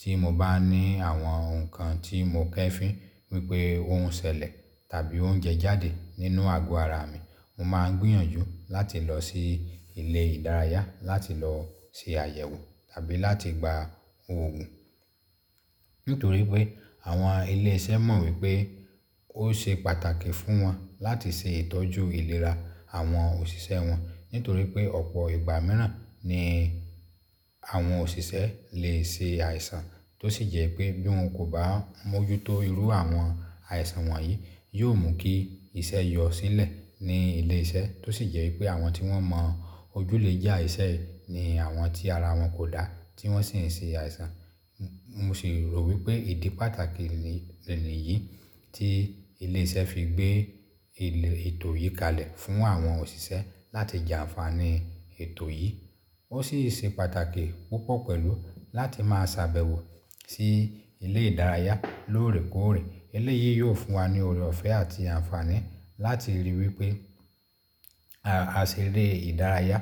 tí mo bá ní àwọn nǹkan tí mo kefín wípé oun ṣẹlẹ̀ tàbí oúnjẹ je jáde nínú àgọ ara mi, mo máa ń gbìyànjú láti lọ sí ilé ìdárayá láti lọ ṣe àyẹ̀wò tàbí láti gba òògùn. Nítorí pé àwọn ilé iṣẹ́ mọ̀ wípé ó ṣe pàtàkì fún wọn láti ṣe ìtọ́jú ìlera àwọn òṣìṣẹ́ wọn. Nítorí pé ọ̀pọ̀ ìgbà mìíràn ni àwọn òṣìṣẹ́ le ṣe àìsàn tó sì jẹ́ pé bí wọn kò bá mójútó irú àwọn àìsàn wọ̀nyí, yóò mú kí iṣẹ́ yọ sílẹ̀ ní ilé iṣẹ́ tó sì jẹ́ pé àwọn tí wọ́n mọ ojú lè jà iṣẹ́ ní àwọn tí ara wọn kò dá tí wọ́n sì ń ṣe àìsàn. Mo sì rò wípé ìdí pàtàkì nìyí tí ilé iṣẹ́ fi gbé ètò yìí kalẹ̀ fún àwọn òṣìṣẹ́ láti jà àǹfààní ètò yìí. Ó sì ṣe pàtàkì púpọ̀ pẹ̀lú láti máa sàbẹ̀wọ̀ sí ilé ìdárayá lóòrèkóòrè. Ilé yìí yóò fún wa ní ọ̀rẹ́ ọ̀fẹ́ àti àǹfààní láti ríi wípé aṣere ìdárayá